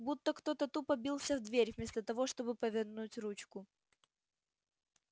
будто кто-то тупо бился в дверь вместо того чтобы повернуть ручку